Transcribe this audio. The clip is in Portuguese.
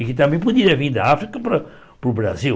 E que também poderiam vir da África para para o Brasil.